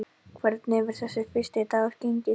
Hvernig hefur þessi fyrsti dagur gengið?